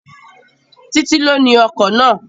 Títí ló ni ọkọ̀ náà